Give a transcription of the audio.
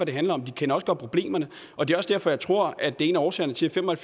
det handler om de kender også godt problemerne og det er også derfor jeg tror at det er en af årsagerne til at fem og